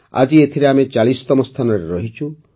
ଆଜି ଏଥିରେ ଆମେ ୪୦ତମ ସ୍ଥାନରେ ରହିଛୁ